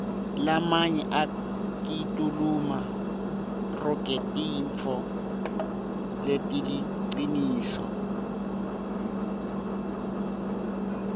lamanye akituluma rogetintifo letiliciniso